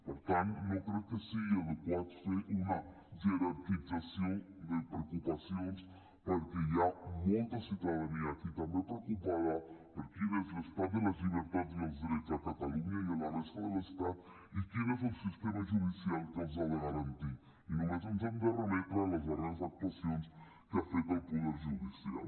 per tant no crec que sigui adequat fer una jerarquització de preocupacions perquè hi ha molta ciutadania aquí també preocupada per quin és l’estat de les llibertats i els drets a catalunya i a la resta de l’estat i quin és el sistema judicial que els ha de garantir i només ens hem de remetre a les darreres actuacions que ha fet el poder judicial